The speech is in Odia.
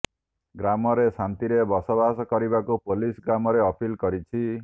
ଗ୍ରାମରେ ଶାନ୍ତିରେ ବସବାସ କରିବାକୁ ପୋଲିସ ଗ୍ରାମରେ ଅପିଲ କରିଛି